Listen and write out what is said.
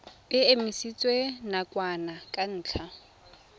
e emisitswe nakwana ka ntlha